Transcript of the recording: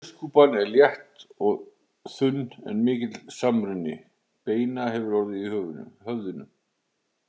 Hauskúpan er létt og þunn en mikill samruni beina hefur orðið í höfðinu.